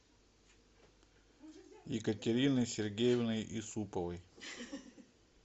екатериной сергеевной исуповой